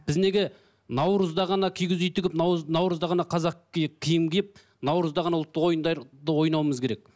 біз неге наурызда ғана кигіз үй тігіп наурызда ғана қазақ киім киіп наурызда ғана ұлттық ойындарды ойнауымыз керек